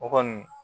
O kɔni